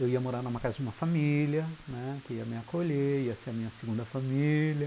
Eu ia morar numa casa de uma família, né, que ia me acolher, ia ser a minha segunda família.